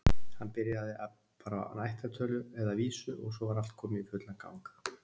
Hann byrjaði bara á ættartölu, eða vísu, og svo var allt komið í fullan gang.